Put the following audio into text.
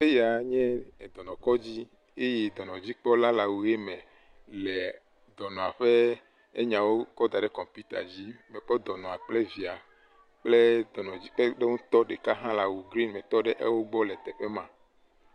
Eyae nye dɔnɔkɔdzi eye dɔnɔdzikpɔla la le awu ɣi me le dɔnɔa ƒe nyawo kɔ ɖam ɖe kɔmpita dzi. Ekɔ dɔnɔa kple via kple dɔnɔ yike ye ɖeka le awu gren me etɔ ɖe afima.